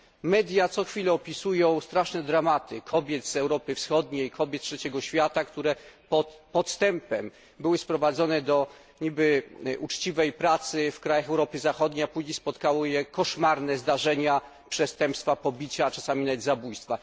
Media co chwila opisują straszne dramaty kobiet z Europy Wschodniej, kobiet z Trzeciego Świata, które podstępem zostały sprowadzone do rzekomo uczciwej pracy w krajach Europy Zachodniej, a później spotkały je koszmarne zdarzenia, przestępstwa, pobicia, a czasami nawet zabójstwa.